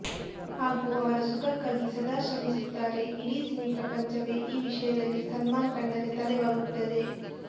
ಹಾಗೂ ಅವರ ಸುಖಕ್ಕಾಗಿ ಸದಾ ಶ್ರಮಿಸುತ್ತಾರೆ ಇಡೀ ಸಿನಿ ಪ್ರಪಂಚವೇ ಈ ವಿಷಯದಲ್ಲಿ ಸಲ್ಮಾನ್ ಕಂಡರೆ ತಲೆಬಾಗುತ್ತದೆ